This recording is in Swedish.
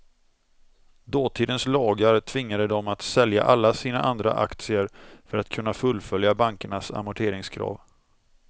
Dåtidens lagar tvingade dem att sälja alla sina andra aktier för att kunna fullfölja bankernas amorteringskrav.